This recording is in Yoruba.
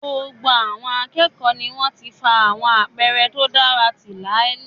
Gbogbo àwọn akẹ́kọ̀ọ́ ni wọ́n ti fa àwọn àpẹẹrẹ tó dára ti láàlì